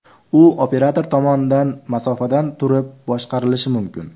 U operator tomonidan masofadan turib boshqarilishi mumkin.